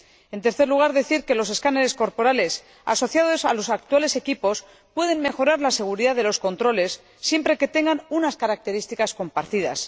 En tercer lugar, decir que los escáneres corporales asociados a los actuales equipos pueden mejorar la seguridad de los controles, siempre que tengan unas características compartidas.